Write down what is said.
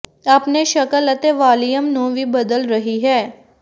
ਆਪਣੇ ਸ਼ਕਲ ਅਤੇ ਵਾਲੀਅਮ ਨੂੰ ਵੀ ਬਦਲ ਰਹੀ ਹੈ